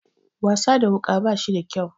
Wasa da wuka bashi da kyau.